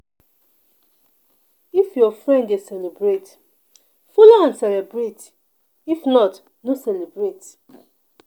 If your friend dey celebrate, follow am celebrate if not no celebrate.